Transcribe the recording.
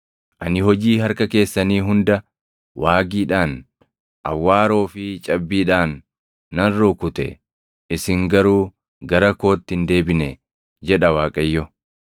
Ani hojii harka keessanii hunda waagiidhaan, awwaaroo fi cabbiidhaan nan rukute; isin garuu gara kootti hin deebine’ jedha Waaqayyo.